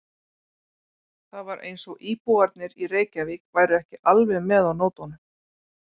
Það var eins og íbúarnir í Reykjavík væru ekki alveg með á nótunum.